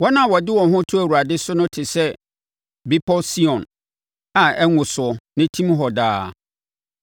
Wɔn a wɔde wɔn ho to Awurade so no te sɛ Bepɔ Sion, a ɛnwosoɔ na ɛtim hɔ daa.